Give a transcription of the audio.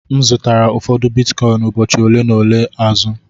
M zụtara ụfọdụ Bitcoin ụbọchị ole na ole azụ.